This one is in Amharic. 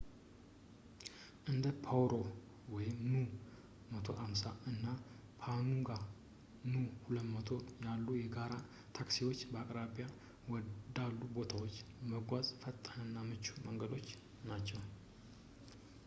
እንደ ፓሮ nu 150 እና ፓኑካ nu 200 ያሉ የጋራ ታክሲዎች በአቅራቢያ ወዳሉ ቦታዎች ለመጓዝ ፈጣን እና ምቹ መንገዶች ናቸው